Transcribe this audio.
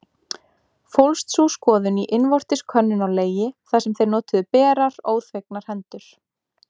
Fólst sú skoðun í innvortis könnun á legi, þar sem þeir notuðu berar, óþvegnar hendur.